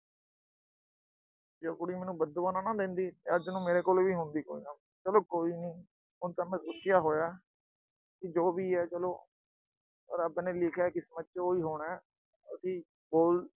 ਜੇ ਉਹ ਕੁੜੀ ਮੈਨੂੰ ਬਦਦੁਆ ਨਾ ਦਿੰਦੀ ਤਾਂ ਅੱਜ ਮੇਰੇ ਕੋਲ ਵੀ ਹੁੰਦੀ ਕੋਈ ਨਾ ਕੋਈ। ਚਲੋ ਕੋਈ ਨੀ, ਹੁਣ ਤਾਂ ਮੈਂ ਹੋਇਆ। ਜੋ ਵੀ ਆ ਚਲੋ, ਜੋ ਰੱਬ ਨੇ ਲਿਖਿਆ ਕਿਸਮਤ ਚ, ਉਹੀ ਹੋਣਾ। ਅਸੀਂ ਬੋਲ